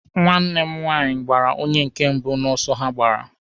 Nwanne m nwaanyị gbara onye nke mbụ n'ọsọ ha gbara.